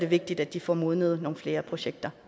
vigtigt at de får modnet nogle flere projekter